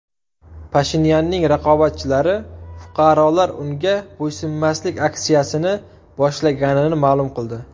Pashinyanning raqobatchilari fuqarolar unga bo‘ysunmaslik aksiyasini boshlaganini ma’lum qildi.